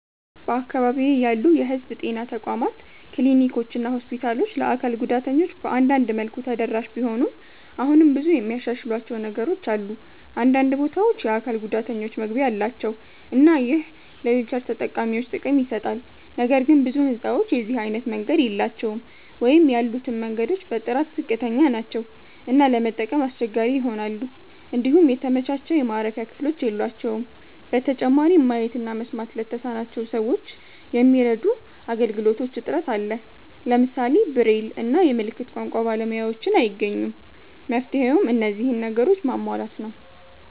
በአካባቢዬ ያሉ የህዝብ ጤና ተቋማት ክሊኒኮችና ሆስፒታሎች ለአካል ጉዳተኞች በአንዳንድ መልኩ ተደራሽ ቢሆኑም አሁንም ብዙ የሚያሻሽሏቸው ነገሮች አሉ። አንዳንድ ቦታዎች የአካል ጉዳተኞች መግቢያ አላቸው እና ይህ ለዊልቸር ተጠቃሚዎች ጥቅም ይሰጣል። ነገር ግን ብዙ ህንጻዎች የዚህ አይነት መንገድ የላቸውም ወይም ያሉትም መንገዶች በጥራት ዝቅተኛ ናቸው እና ለመጠቀም አስቸጋሪ ይሆናሉ። እንዲሁም የተመቻቸ የማረፊያ ክፍሎች የሏቸውም። በተጨማሪም ማየት እና መስማት ለተሳናቸው ሰዎች የሚረዱ አገልግሎቶች እጥረት አለ። ለምሳሌ ብሬል እና የምልክት ቋንቋ ባለሙያዎችን አይገኙም። መፍትሄውም እነዚህን ነገሮች ማሟላት ነው።